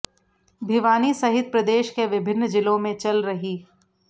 भिवानी सहित प्रदेश के विभिन्न जिलों में चल रही